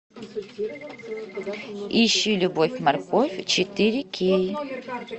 ищи любовь морковь четыре кей